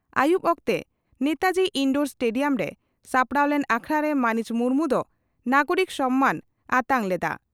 ᱟᱹᱭᱩᱵᱽ ᱚᱠᱛᱮ ᱱᱮᱛᱟᱡᱤ ᱤᱱᱰᱳᱨ ᱥᱴᱮᱰᱤᱭᱟᱢ ᱨᱮ ᱥᱟᱯᱲᱟᱣ ᱞᱮᱱ ᱟᱠᱷᱲᱟᱨᱮ ᱢᱟᱹᱱᱤᱡ ᱢᱩᱨᱢᱩ ᱫᱚ ᱱᱟᱜᱚᱨᱤᱠ ᱥᱚ ᱢᱟᱹᱱ ᱟᱛᱟᱝ ᱞᱮᱫᱼᱟ ᱾